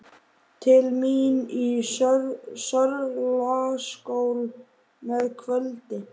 Til mín í Sörlaskjól að kvöldi.